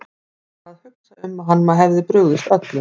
Hann var að hugsa um að hann hefði brugðist öllum.